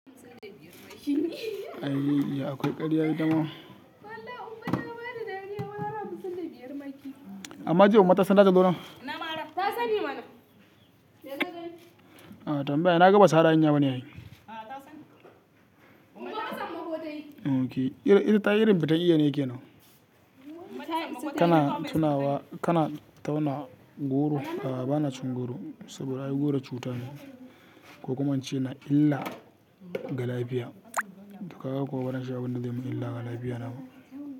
Ayye Iya akwai karya ita ma. Wallahi ummah ta bani dariya ranan da karfe biyar ma. Amma jiya ummah ta san da ta zo nan? Ta sani mana. Ah tambaya, na ga basu hadda hanya bane ai. Ah, ta sani. Ok, irin tayi irin fitan Iya ne kenan. Kana tunawa--kana tauna goro? A'a banacin goro, saboda ai goro cuta ne. Ko kuma in ce na illa ga lafiya Kaga kuwa baranci abun da zai min illa go lafiya na ba.